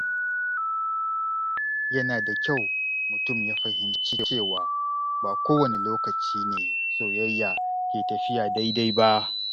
Yana da kyau mutum ya fahimci cewa ba kowane lokaci ne soyayya ke tafiya daidai ba.